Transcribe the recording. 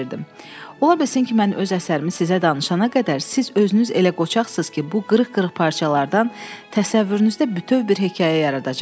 Ola bilsin ki, mən öz əsərimi sizə danışana qədər siz özünüz elə qoçaqsız ki, bu qırıq-qırıq parçalardan təsəvvürünüzdə bütöv bir hekayə yaradacaqsınız.